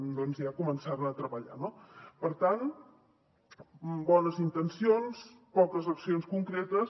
doncs ja començar hi a treballar no per tant bones intencions poques accions concretes